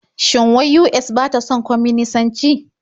Shin wai US ba ta son kwaminisanci?